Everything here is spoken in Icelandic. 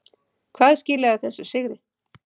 Hvað skilaði þessum sigri?